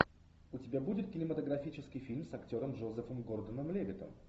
у тебя будет кинематографический фильм с актером джозефом гордоном левиттом